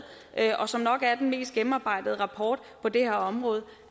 og som nok er den mest gennemarbejdede rapport på det her område